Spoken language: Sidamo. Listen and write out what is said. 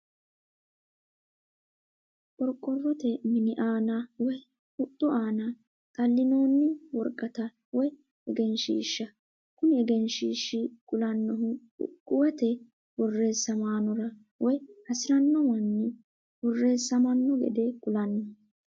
Qoriqorote mini aana woyi huxxi aanna xalinooni woraqatta woyi eggenishisha, kuni eggenshiishi kulanohu iqquwete borressamanora woyi hasirano mani berreesamano gede kulano